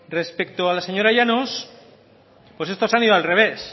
respecto a la señora llanos estos han ido al revés